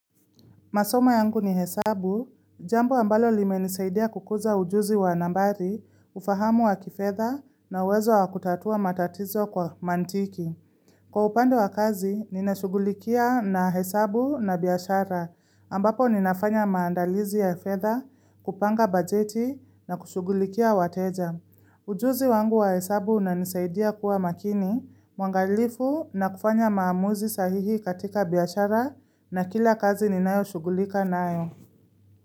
Masoma yangu ni hesabu, jambo ambalo limenisaidia kukuza ujuzi wa nambari, ufahamu wa kifedha na uwezo wa kutatua matatizo kwa mantiki. Kwa upande wa kazi, ninashugulikia na hesabu na biashara, ambapo ninafanya maandalizi ya hefedha, kupanga bajeti na kushugulikia wateja. Ujuzi wangu wa hesabu unanisaidia kuwa makini, mwangalifu na kufanya maamuzi sahihi katika biashara na kila kazi ninayoshugulika nayo.